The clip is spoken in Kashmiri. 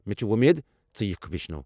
مے٘ چھِ وۄمید ژٕ یِکھ ویشنٕو۔